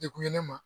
Dekun ye ne ma